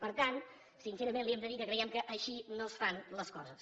per tant sincerament li hem de dir que creiem que així no es fan les coses